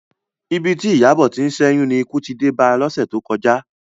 Ibi tí Ìyábọ̀ ti ń ṣẹ́yún ni ikú ti dé ba lọ́sẹ̀ tó kọjá